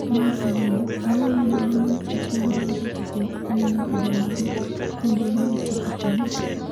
mar ariyo, Ang’o momiyo Diamond Platinumz luwre gi jok maneno vidio mage e mbui mar Youtube ahinya?